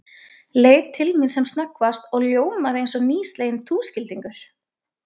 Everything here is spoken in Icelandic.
Leit til mín sem snöggvast og ljómaði eins og nýsleginn túskildingur.